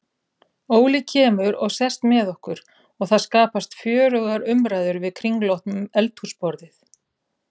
Óli kemur og sest með okkur og það skapast fjörugar umræður við kringlótt eldhúsborðið.